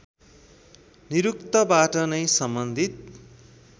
निरुक्तबाट नै सम्बन्धित